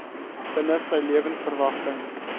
binne sy lewensverwagting